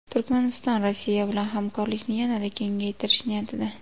Turkmaniston Rossiya bilan hamkorlikni yanada kengaytirish niyatida.